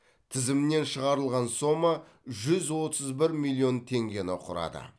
тізімнен шығарылған сома жүз отыз бір миллион теңгені құрады